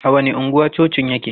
A wani anguwa cocin yake?